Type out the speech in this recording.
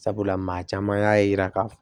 Sabula maa caman y'a yira k'a fɔ